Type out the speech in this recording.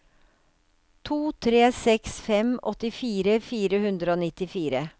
to tre seks fem åttifire fire hundre og nittifire